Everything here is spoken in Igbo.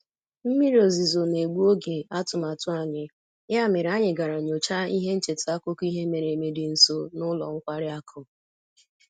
Mmiri ozuzo na-egbu oge atụmatụ anyị, ya mere anyị gara nyochaa ihe ncheta akụkọ ihe mere eme dị nso na ụlọ nkwari akụ